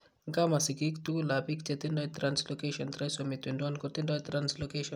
Nkaa, ma sigiik tugulap biik che tindo translocation trisomy 21 kotindo translocation.